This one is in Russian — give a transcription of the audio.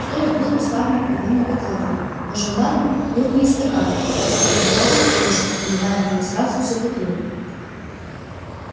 столик был уставлен пивными бутылками но жандарм пил не из стакана а из пол литровой кружки выливая в неё сразу всю бутылку